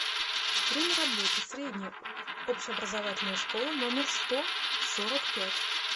время работы средняя общеобразовательная школа номер сто сорок пять